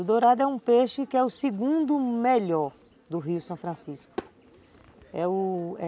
O dourado é um peixe que é o segundo melhor do Rio São Francisco, é o